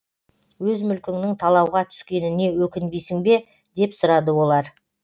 өз мүлкіңнің талауға түскеніне өкінбейсің бе деп сұрады олар